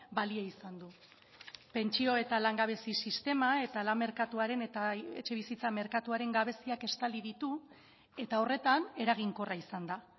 balio izan du pentsio eta langabezi sistema eta lan merkatuaren eta etxebizitza merkatuaren gabeziak estali ditu eta horretan eraginkorra izan da